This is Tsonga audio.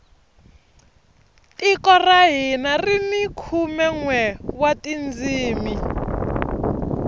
tiko ra hina rini khume nwe wa tindzimi